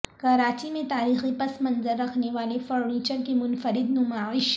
کراچی میں تاریخی پس منظر رکھنے والے فرنیچر کی منفرد نمائش